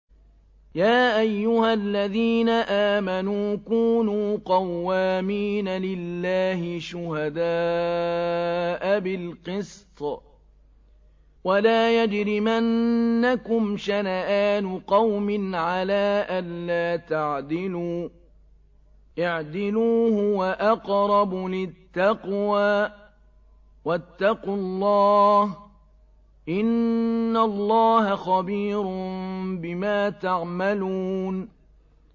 يَا أَيُّهَا الَّذِينَ آمَنُوا كُونُوا قَوَّامِينَ لِلَّهِ شُهَدَاءَ بِالْقِسْطِ ۖ وَلَا يَجْرِمَنَّكُمْ شَنَآنُ قَوْمٍ عَلَىٰ أَلَّا تَعْدِلُوا ۚ اعْدِلُوا هُوَ أَقْرَبُ لِلتَّقْوَىٰ ۖ وَاتَّقُوا اللَّهَ ۚ إِنَّ اللَّهَ خَبِيرٌ بِمَا تَعْمَلُونَ